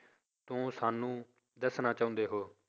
ਤਾਂ ਸਾਨੂੰ ਦੱਸਣਾ ਚਾਹੁੰਦੇ ਹੋ?